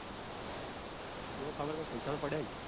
મન ખબર ક કૈક પૈસા તો પડ્યા છે.